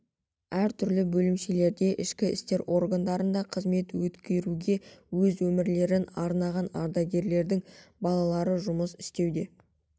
әр түрлі бөлімшелерде ішкі істер органдарында қызмет өткеруге өз өмірлерін арнаған ардагерлердің балалары жұмыс істеуде